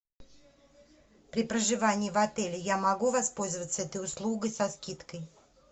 при проживании в отеле я могу воспользоваться этой услугой со скидкой